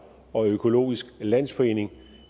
og økologisk landsforening